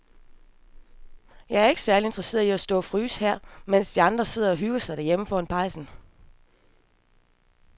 Jeg er ikke særlig interesseret i at stå og fryse her, mens de andre sidder og hygger sig derhjemme foran pejsen.